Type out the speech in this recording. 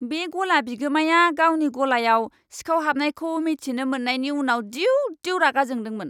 बे गला बिगोमाया गावनि गलायाव सिखाव हाबनायखौ मिथिनो मोननायनि उनाव दिउ दिउ रागा जोंदोंमोन।